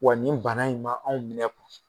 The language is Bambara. Wa nin bana in ma anw minɛ